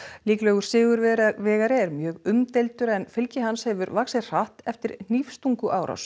líklegur sigurvegari er mjög umdeildur en fylgi hans hefur vaxið hratt eftir